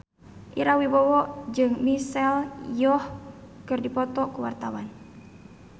Ira Wibowo jeung Michelle Yeoh keur dipoto ku wartawan